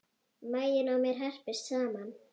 Maginn á mér herpist saman.